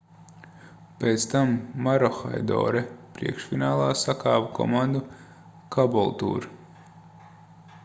pēc tam maroochydore priekšfinālā sakāva komandu caboolture